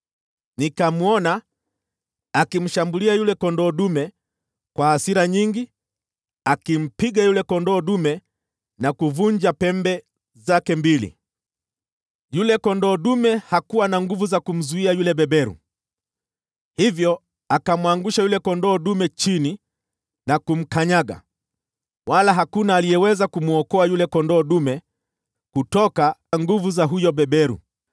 Nikamwona akimshambulia yule kondoo dume kwa hasira nyingi, akimpiga yule kondoo dume na kuvunja pembe zake mbili. Yule kondoo dume hakuwa na nguvu za kumzuia yule beberu, hivyo akamwangusha yule kondoo dume chini na kumkanyaga, wala hakuna aliyeweza kumwokoa yule kondoo dume kutoka nguvu za huyo beberu.